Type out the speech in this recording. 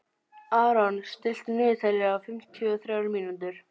Aron, stilltu niðurteljara á fimmtíu og þrjár mínútur.